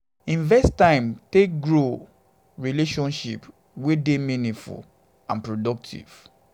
invest time take grow relationship wey dey meaningful and positive